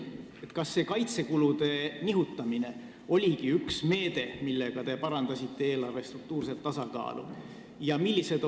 Kas see kaitsekulude nihutamine oligi üks meede, millega te parandasite eelarve struktuurset tasakaalu?